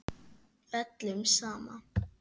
Öllum sama.